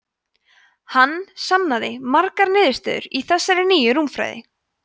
hann sannaði margar niðurstöður í þessari nýju rúmfræði